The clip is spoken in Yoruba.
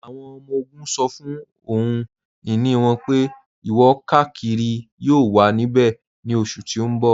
Awọn ọmọ-ogun ṣọ́ fún ọhun-iní wọn pé ìwọ-kàkírí yóò wà níbẹ̀ ní oṣù tí n bọ.